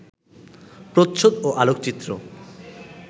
প্রচ্ছদ ও আলোকচিত্র